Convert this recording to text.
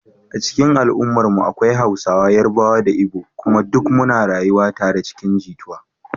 A cikin al’ummarmu akwai Hausawa, Yarbawa da Igbo kuma duk muna rayuwa tare cikin jituwa.